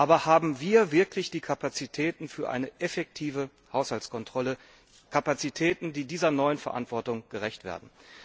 Aber haben wir wirklich die Kapazitäten für eine effektive Haushaltskontrolle Kapazitäten, die dieser neuen Verantwortung gerecht werden?